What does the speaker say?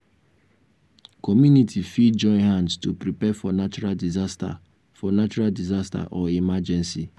community fit join hand to prepare for natural disaster for natural disaster or emergency